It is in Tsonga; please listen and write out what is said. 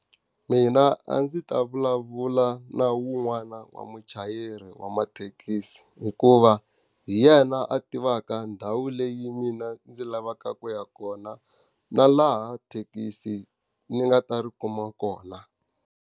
Mina a ndzi ta vulavula na wun'wana wa muchayeri wa mathekisi hikuva, hi yena a tivaka ndhawu leyi mina ndzi lavaka ku ya kona na laha thekisi ni nga ta ri kuma kona.